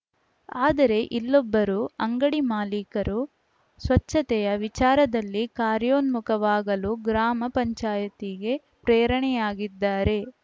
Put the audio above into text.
ಆದರೆ ಇಲ್ಲೊಬ್ಬರು ಅಂಗಡಿ ಮಾಲೀಕರು ಸ್ವಚ್ಛತೆಯ ವಿಚಾರದಲ್ಲಿ ಕಾರ್ಯೋನ್ಮುಖವಾಗಲು ಗ್ರಾಮ ಪಂಚಾಯ್ತಿಗೇ ಪ್ರೇರಣೆಯಾಗಿದ್ದಾರೆ